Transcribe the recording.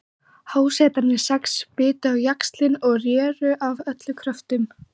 Hásetarnir sex bitu á jaxlinn og réru af öllum kröftum.